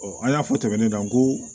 an y'a fɔ tɛmɛnen kan ko